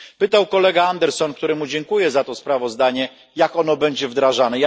Pytał kolega Andersson, któremu dziękuję za to sprawozdanie, jak ono będzie wdrażane.